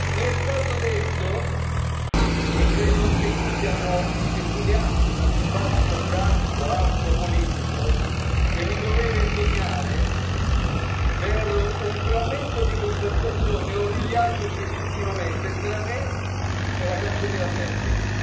Mi è stato detto e credo che anche qui esuliamo dal dibattito franco, aspro, politico che mi dovrei vergognare per un frammento di conversazione origliato illegittimamente tra me e la Cancelliera Merkel.